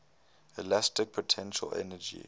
elastic potential energy